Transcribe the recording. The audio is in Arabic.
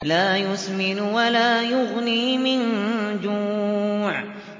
لَّا يُسْمِنُ وَلَا يُغْنِي مِن جُوعٍ